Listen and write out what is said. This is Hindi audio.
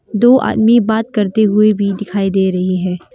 दो आदमी बात करते हुए भी दिखाई दे रही है।